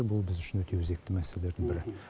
бұл біз үшін өте өзекті мәселелердің бірі